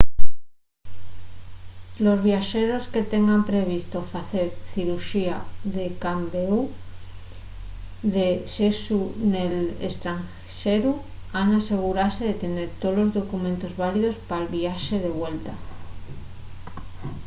los viaxeros que tengan previsto facer ciruxía de cambéu de sexu nel estranxeru han asegurase de tener tolos documentos válidos pal viaxe de vuelta